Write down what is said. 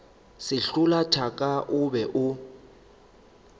sehlola thaka o be o